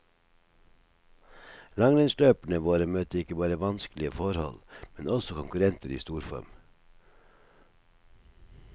Langrennsløperne våre møtte ikke bare vanskelige forhold, men også konkurrenter i storform.